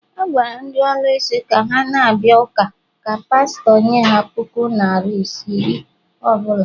A gwara ndị ọlụsị ka ha na-abịa ụka ka pastọ nye ha puku naira iri ọ bụla